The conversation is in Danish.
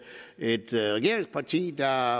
et regeringsparti der